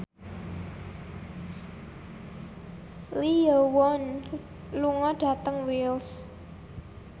Lee Yo Won lunga dhateng Wells